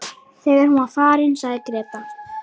Þegar hún var farin sagði Gréta